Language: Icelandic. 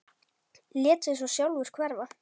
Lét sig svo sjálfur hverfa.